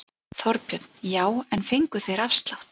Þorbjörn: Já en fengu þeir afslátt?